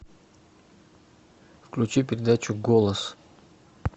включи передачу голос